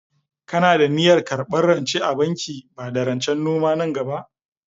Kana da niyyar karɓar rance a bankin bada rancen noma nan gaba?